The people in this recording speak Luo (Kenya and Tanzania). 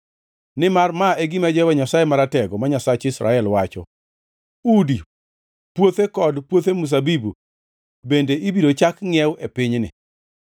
Nimar ma e gima Jehova Nyasaye Maratego, ma Nyasach Israel, wacho: Udi, puothe kod puothe mzabibu bende ibiro chak ngʼiew e pinyni.’